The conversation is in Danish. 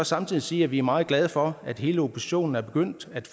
samtidig sige at vi er meget glade for at hele oppositionen er begyndt at